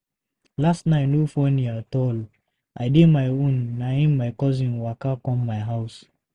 Last night no funny at all. I dey my own na im my cousin waka come my house.